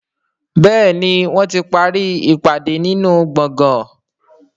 Béèni wón tí parí ìpàdé nínú gboôgan.